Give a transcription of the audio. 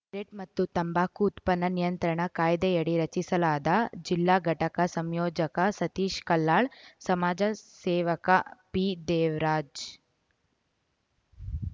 rate ಮತ್ತು ತಂಬಾಕು ಉತ್ಪನ್ನ ನಿಯಂತ್ರಣ ಕಾಯ್ದೆಯಡಿ ರಚಿಸಲಾದ ಜಿಲ್ಲಾ ಘಟಕ ಸಂಯೋಜಕ ಸತೀಶ್‌ ಕಲ್ಹಾಳ್‌ ಸಮಾಜ ಸೇವಕ ಪಿ ದೇವರಾಜ್‌